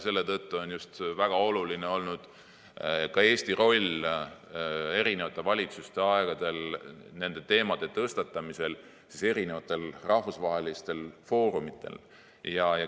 Selle tõttu on just väga oluline olnud ka Eesti roll eri valitsuste aegadel nende teemade tõstatamisel rahvusvahelistel foorumitel.